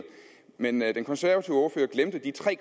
men den konservative ordfører glemte de tre